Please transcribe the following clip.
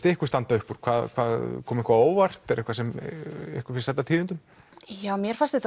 ykkur standa upp úr kom eitthvað á óvart eitthvað sem ykkur finnst sæta tíðindum mér fannst þetta